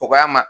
O k'a ma